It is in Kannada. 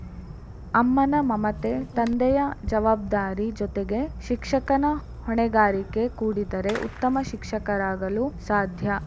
ಅಮ್ಮನ ಮಮತೆ ತಂದೆಯ ಜವಾಬ್ದಾರಿ ಜೊತೆಗೆ ಶಿಕ್ಷಕನ ಹೊಣೆಗಾರಿಕೆ ಕೂಡಿದರೆ ಉತ್ತಮ ಶಿಕ್ಷಕರಾಗಲು ಸಾಧ್ಯ